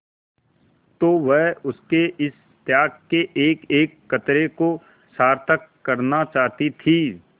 तो वह उसके इस त्याग के एकएक कतरे को सार्थक करना चाहती थी